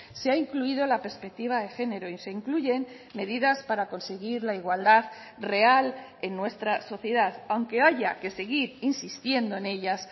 se ha incluido la perspectiva de género y se incluyen medidas para conseguir la igualdad real en nuestra sociedad aunque haya que seguir insistiendo en ellas